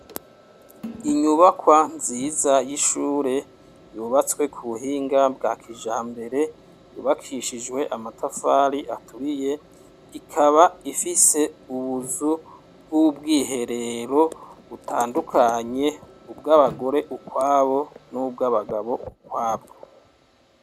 Inyubakwa nziza y'ishure yubatswe ku buhinga bwa kijambere yubakishijwe amatafari aturiye, ikaba ifise ubuzu bw'ubwiherero butandukanye, ubwabagore ukwabo n'ubwabagabo ukwabwo.